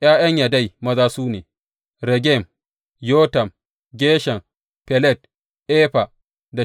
’Ya’yan Yadai maza su ne, Regem, Yotam, Geshan, Felet, Efa da Sha’af.